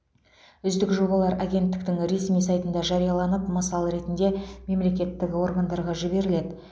үздік жобалар агенттіктің ресми сайтында жарияланып мысал ретінде мемлекеттік органдарға жіберіледі